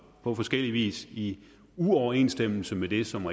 på forskellig vis i uoverensstemmelse med det som